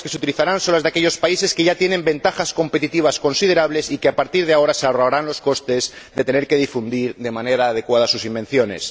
Las lenguas que se utilizarán serán las de aquellos países que ya tienen ventajas competitivas considerables y que a partir de ahora se ahorrarán los costes de tener que difundir de manera adecuada sus invenciones.